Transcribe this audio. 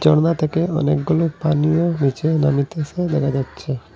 ঝর্ণা থেকে অনেকগুলো পানিও নীচে নামিতেসে দেখা যাচ্ছে।